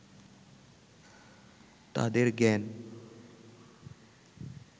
তাঁদের জ্ঞান